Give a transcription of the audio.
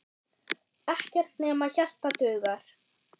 Ekkert nema hjarta dugar.